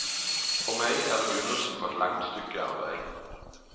For meg er det begynnelsen på et langt stykke arbeid.